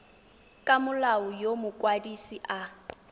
ka molao yo mokwadise a